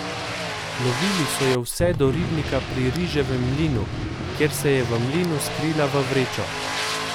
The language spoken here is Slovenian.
Lovili so jo vse do ribnika pri riževem mlinu, kjer se je v mlinu skrila v vrečo.